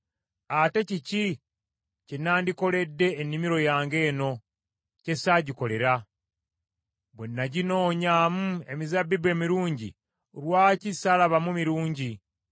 Ate kiki kye nandikoledde ennimiro yange eno, kye ssaagikolera? Bwe naginoonyamu emizabbibu emirungi, lwaki saalabamu mirungi?